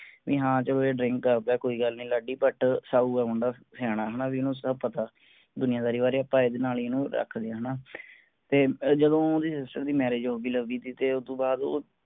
ਵੀ ਹਾਂ ਚਲੋ drink ਕਰਦਾ ਆ ਕੋਈ ਗੱਲ ਨੀ ਲਾਡੀ but ਸਾਊ ਆ ਮੁੰਡਾ ਸਿਆਣਾ ਆ ਵੀ ਹਾਂ ਇਹਨੂੰ ਸਬ ਪਤਾ ਦੁਨੀਆਦਾਰੀ ਬਾਰੇ ਆਪਾਂ ਇਹਦੇ ਨਾਲ ਹੀ ਇਹਨੂੰ ਰੱਖਦੇ ਆਂ ਹੈਨਾ ਤੇ ਜਦੋਂ ਉਹ ਓਹਦੀ sister ਦੀ marriage ਦੀ ਤੇ ਓਹਤੋਂ ਬਾਅਦ ਉਹ